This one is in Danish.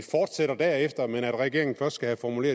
derefter fortsætter men at regeringen først skal have formuleret